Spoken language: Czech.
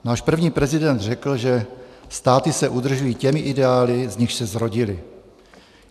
Náš první prezident řekl, že státy se udržují těmi ideály, z nichž se zrodily.